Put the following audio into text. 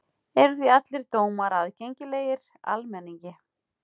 Eru því allir dómar aðgengilegir almenningi.